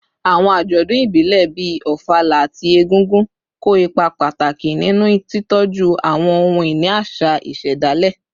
Àwọn àjọ̀dún ìbílẹ̀, bíi Ofala àti Egúngún, kó ipa pàtàkì nínú títọ́jú àwọn ohun-ìní àṣà ìṣẹ̀dálẹ̀